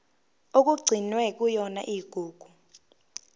okugcinwe kuyona igugu